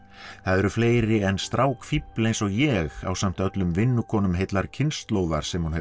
það eru fleiri en strákfífl eins og ég ásamt öllum heillar kynslóðar sem hún hefur